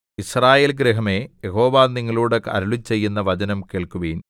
യിസ്രായേൽ ഗൃഹമേ യഹോവ നിങ്ങളോട് അരുളിച്ചെയ്യുന്ന വചനം കേൾക്കുവിൻ